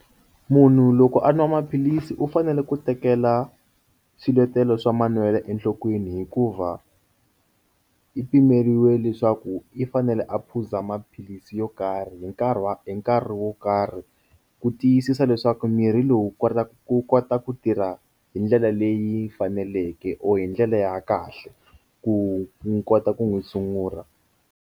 Munhu loko a nwa maphilisi u fanele ku tekela swiletelo swa manwelo enhlokweni hikuva i pimeriwile leswaku i fanele a phuza maphilisi yo karhi nkarhi wa hi nkarhi wo karhi ku tiyisisa leswaku mirhi lowu kotaka ku kota ku tirha hi ndlela leyi faneleke or hi ndlela ya kahle ku ni kota ku n'wu tshungula.